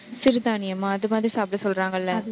சிறுதானியமா அது மாதிரி சாப்பிட சொல்றாங்கள்ல